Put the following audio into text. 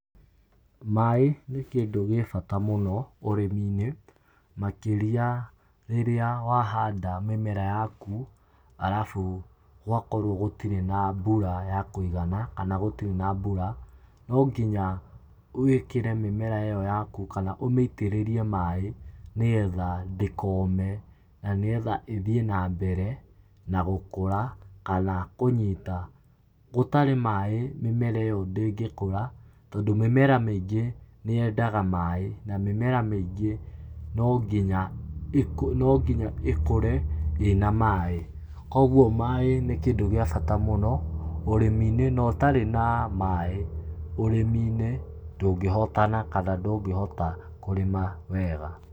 Maaĩ nĩ kĩndũ gĩbata mũno ũrĩmi-inĩ makĩria rĩrĩa wahanda mĩmera yaku arabu gwakorwo gũtirĩ na mbura ya kuigana kana gũtirĩ na mbura, no nginya wĩkĩre mĩmera ĩyo yaku kana ũmĩitĩrĩrie maaĩ nĩgetha ndĩkome na nĩgetha ĩthiĩ na mbere na gũkora kana kũnyita. Gũtarĩ maaĩ mĩmera ĩyo ndĩngĩkũra tondũ mĩmera mĩingĩ nĩyendaga maaĩ na mĩmera mĩingĩ no nginya ĩkũre no nginya ĩkũre ĩ na maaĩ. Koguo maaĩ nĩ kĩndũ gĩabata mũno ũrĩmi-inĩ na ũtarĩ na maaĩ ũrĩmi-inĩ, ndũngĩhotana kana ndũngĩhota kũrĩma wega.